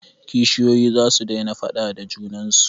Kishiyoyi za su daina faaɗa da junan su.